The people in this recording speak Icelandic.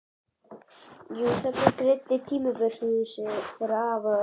Jú, þarna greindi hún timburhúsið þeirra afa og ömmu.